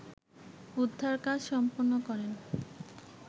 উদ্ধার কাজ সম্পন্ন করেন